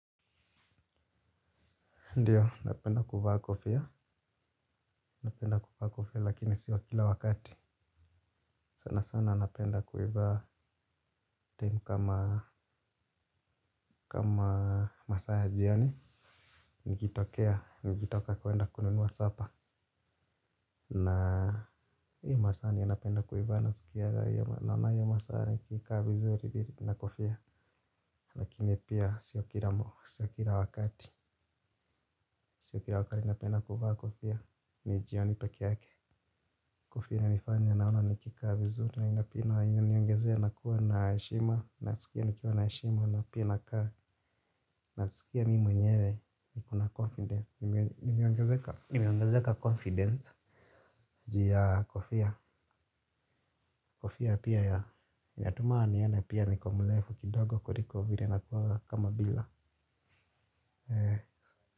Ndio, napenda kuvaa kofia, napenda kuvaa kofia, lakini sio kila wakati. Sana sana napenda kiuvaa time kama kama masaa ya jioni, nikitokea, nikitoka kuenda kununua supper. Na hii masaa ndio napenda kuivaa, naskiaga naona hiyo masaa nikikaa vizuri na kofia. Lakini pia sio kila, sio kila wakati, sio kila wakati, napenda kuvaa kofia, ni jioni peke yake. Kofia inanifanya naona nikikaa vizuri na ina pia na inaniongezea nakuwa na heshima, nasikia nikiwa na heshima na pia nakaa. Nasikia mimi mwenyewe kuna confidence, nimeongezeka? Nimeongezeka confidence juu ya kofia, kofia pia ya, inatuma nione pia niko mrefu kidogo kuliko vile nakuwaga kama bila.